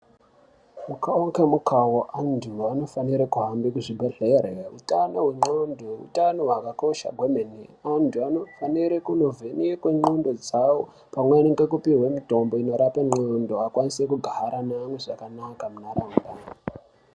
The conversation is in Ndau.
Mukavo nemukavo antu anofanire kuhambe kuzvibhedhlere, utano hwengqondo utano hwakakosha hwemene. Antu antu anofanire kunovhenekwe ngqondo dzavo pamweni ngekupihwe mutombo unorape ngqondo akwanise kugara neamwe zvakanaka munharaunda.